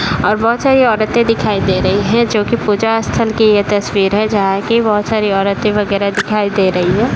और बहुत सारी औरतें दिखाई दे रही हैं जो कि पूजा स्थल की यह तस्वीर है जहाँ कि बहुत सारी औरतें वगेरा दिखाई दे रही हैं।